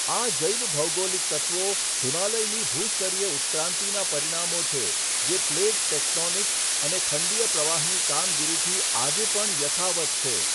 આ જૈવભૌગોલિક તત્ત્વો હિમાલયની ભૂસ્તરીય ઉત્ક્રાંતિના પરિણામો છે જે પ્લેટ ટેક્ટોનિક અને ખંડીય પ્રવાહની કામગીરીથી આજે પણ યથાવત્ છે.